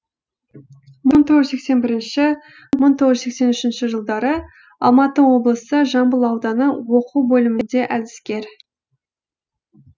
мың тоғыз жүз сексен бірінші мың тоғыз жүз сексен үшінші жылдары алматы облысы жамбыл ауданы оқу бөлімінде әдіскер